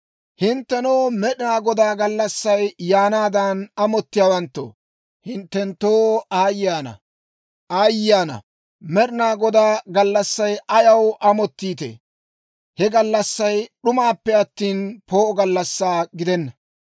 Hinttenoo, Med'inaa Godaa gallassay yaanaadan amottiyaawanttoo, hinttenttoo aayye ana! Med'inaa Godaa gallassaa ayaw amottiitee? He gallassay d'umaappe attina, poo'o gallassaa gidenna.